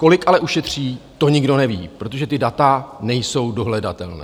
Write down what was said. Kolik ale ušetří, to nikdo neví, protože ta data nejsou dohledatelná.